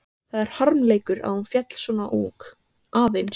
Það er harmleikur að hún féll svo ung, aðeins